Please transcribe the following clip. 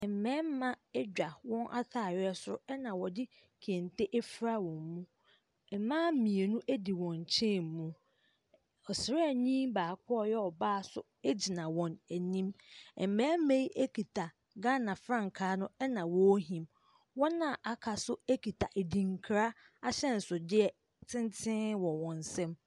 Mmarima adwa wɔn atareɛ so na wɔde kente afura wɔn mu. Mmaa mmienu di wɔn nkyɛn mu. Ɔsraani baako a ɔyɛ ɔbaa nso gyina wɔn anim. Mmarima yi kuta Ghana frankaa no na wɔrehim. Wɔn a wɔaka nso kita adinkra ahyɛnsodeɛ tenten wɔ wɔn nsam.